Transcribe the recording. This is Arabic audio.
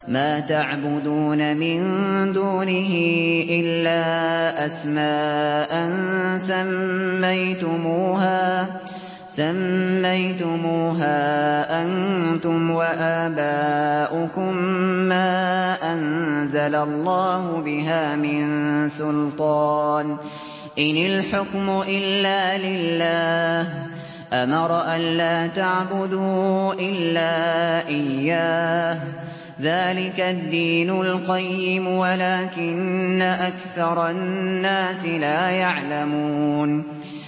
مَا تَعْبُدُونَ مِن دُونِهِ إِلَّا أَسْمَاءً سَمَّيْتُمُوهَا أَنتُمْ وَآبَاؤُكُم مَّا أَنزَلَ اللَّهُ بِهَا مِن سُلْطَانٍ ۚ إِنِ الْحُكْمُ إِلَّا لِلَّهِ ۚ أَمَرَ أَلَّا تَعْبُدُوا إِلَّا إِيَّاهُ ۚ ذَٰلِكَ الدِّينُ الْقَيِّمُ وَلَٰكِنَّ أَكْثَرَ النَّاسِ لَا يَعْلَمُونَ